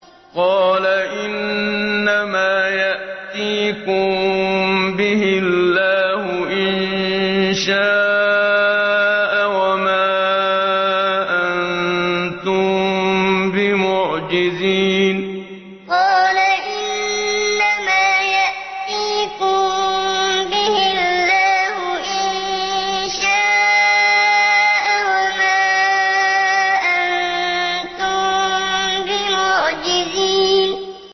قَالَ إِنَّمَا يَأْتِيكُم بِهِ اللَّهُ إِن شَاءَ وَمَا أَنتُم بِمُعْجِزِينَ قَالَ إِنَّمَا يَأْتِيكُم بِهِ اللَّهُ إِن شَاءَ وَمَا أَنتُم بِمُعْجِزِينَ